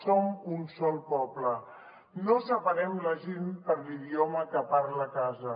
som un sol poble no separem la gent per l’idioma que parla a casa